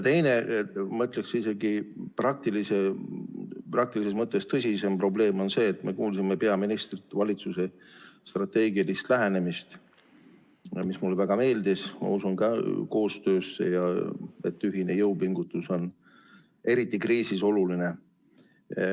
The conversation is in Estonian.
Teine, ma ütleksin isegi praktilises mõttes tõsisem probleem on see, et me kuulsime peaministrilt valitsuse strateegilisest lähenemisest, mis mulle väga meeldis, ma usun koostöösse ja et ühine jõupingutus on eriti kriisis oluline.